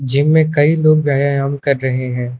जिनमे में कई लोग व्यायाम कर रहे हैं।